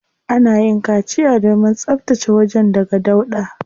Ana yin kaciya domin tsabtace wajen daga dauɗa.